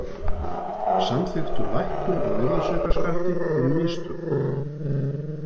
Samþykktu lækkun á virðisaukaskatti fyrir mistök